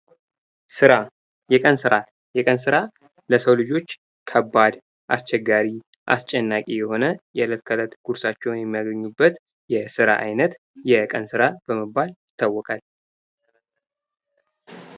ሥራ የቀን ሥራ: የቀን ሥራ ለሰው ልጆች ከባድ አስቸጋሪ አስጨናቂ የሆነ የለት ተለት ጉርሳቸውን የሚያገኙበት የስራ አይነት የቀን ሥራ በመባል ይታወቃል::